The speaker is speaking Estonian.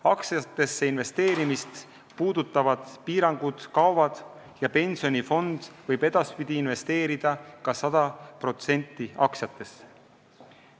Aktsiatesse investeerimist puudutavad piirangud kaovad ja pensionifond võib edaspidi ka 100% aktsiatesse investeerida.